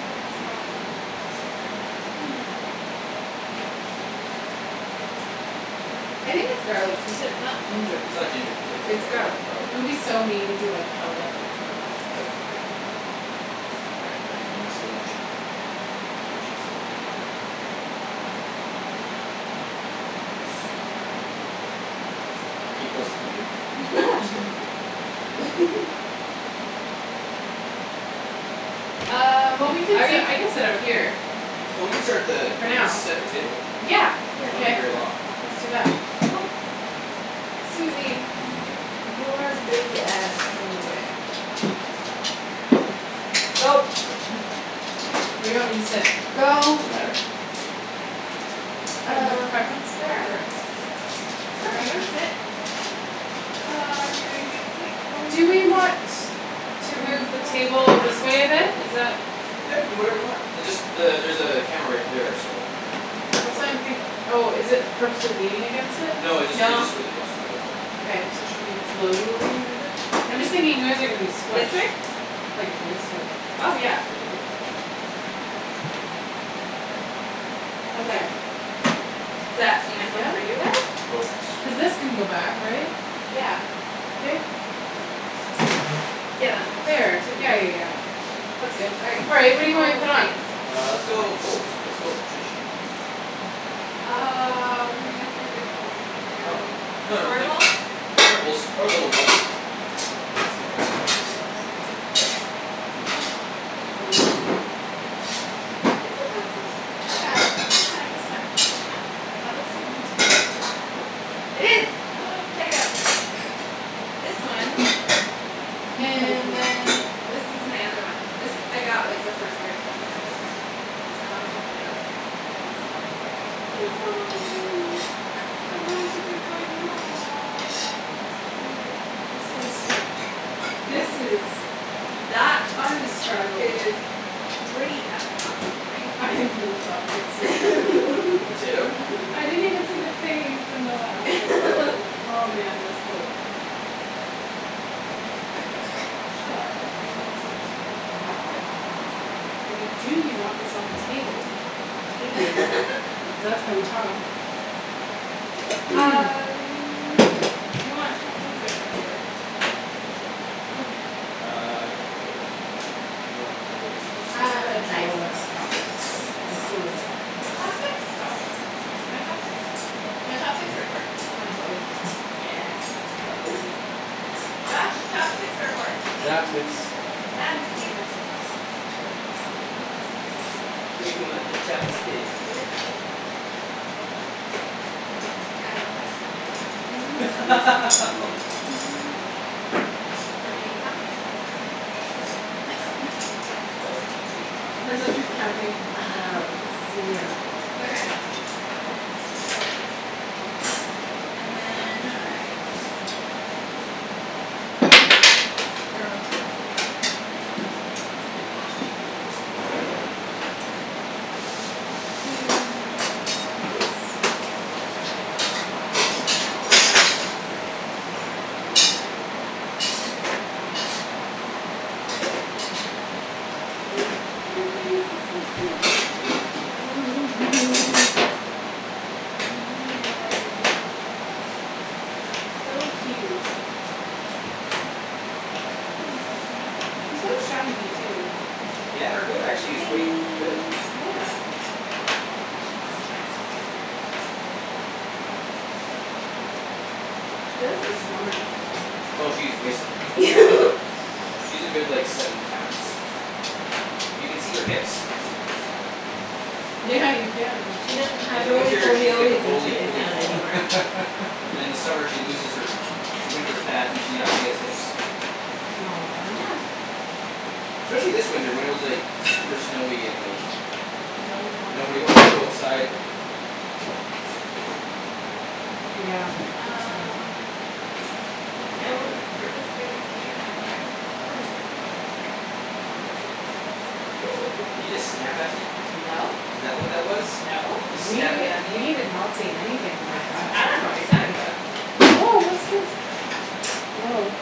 Oh, the smell of ginger. It's so good. Hmm. I think its garlic pea tips, not ginger It's pea not tips. ginger pea tips; its It's garlic, garlic. garlic It would pea be tips. so mean if we, like, held up a plate, like, up to the camera. All right, we got another message. What did she say? Yes, we are. Are you close to eating? We're still cooking. Um, Well, we could are sit, you I could sit out here. Well, we can start the, For we can now. set the table. Yeah, here. So won't be K. very long. Let's do that. Oop- Susie. Your big ass is in the way. Go. Where do you want me to sit? Go. Doesn't matter. You have a Uh, preference? wherever. Wherever you wanna Wherever? sit. Uh, are we doing big plates, Do we bowls? want to move the bowls, plates. table this way a bit? Is that Yeah, you can do whatever you want. It just the- there's a camera right there, so. Just That's why watch I'm out for think- that. Oh, is it purposely leaning against it? No, it jus- it's No. just really close to it; that's all. Okay, so should we slowly move it? I'm just thinking you guys are gonna be this squished. way? Like this way. Oh, yeah, we could do that. How's that? There. Is that enough room for Yeah? you there? Coats. Cuz this can go back, right? Yeah. Yeah, that moves There. super Yeah, yeah, easy. yeah. That's good. All right, All right. plates What or do you want me bowls. to put Plates. on? Uh, let's go with bowls. Let's go traditional. Uh, we may have three big bowls. You wanna Oh. do No, no, square like bowls? square bowls or little bowls. Do you want me to hold some- It's a process. I got it. It's That's fine. fine, It's that's fine. fine. That looks like a potato. It is. Check it out. This one. And then this is my other one. This I got, like, the first year I came to Vancouver. My mom shipped it out to me. She missed me and she's like "It's Halloween. I have no one to drink wine with." Aw, that's cute. This is This is Bea- That t- undescribable. is pretty f- ing awesome, right? I love it so mu- The potato? I didn't even see the face. Oh, man, that's cool. Yeah. Shall I? Do you want this on the table? I mean, do you want this on the table, table, cuz that's how we talk. Um, you want Chinese or regular? Chinese what? Spoon. Ah, no, regular's fine. You have Uh, a knife? drawer of chopsticks. Knife? For How cool is what? that. You want chopsticks? I want chopsticks. You want chopsticks? You want chopsticks or a fork? Can I have both? Yeah. Josh, chopsticks or a fork? Hey, Chopsticks. good Chopsticks. girl. You want the chopstick. You want the chop a stick The uh. chop a steek. I don't know how to count anymore. Fuck me. Three, how many of us are there? Four. So that would be eight chopsticks. Depends if you're counting Pe- um Susie or not. Okay. So. And then no knives. Which is fine or And Her face is so cute. Oh, you. You know I was looking. It's so cute. Hey Susie. She's so shiny too. Yeah, her coat actually is quite good. Yeah. She does look slimmer from the last time I saw Oh, her, she's way slimmer then last that you yeah. saw her. Whoops. Yeah, she's a good, like, seven pounds. You can see her hips. Yeah, you can. She doesn't In have the Rolie winter, Polie she's like a Ollies when she Rolie lays Polie down ball. anymore. And then in the summer she loses her her winter fat, and she actually has hips. Aw. Yeah. Especially this winter when it was, like super snowy and, like No one wanted nobody to wanted to go move. outside. Okay. Yeah, it's true. Um Yeah, we're, we're just wait for you now, All right, Ian. we're almost there. Almost there. Did you just snap at me? No. Is that what that was? No. You snappin' We, at we me? did not see anything like that. I don't know what you're talking about. Woah, what's this? Woah.